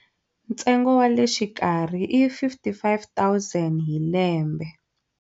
Ntsengo wa le xikarhi i R55 000 hi lembe.